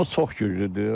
Ordumuz çox güclüdür.